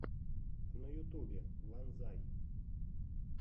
на ютубе ванзай